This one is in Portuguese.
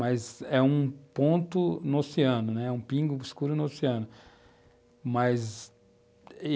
Mas é um ponto no oceano, né, é um pingo escuro no oceano, mas, e,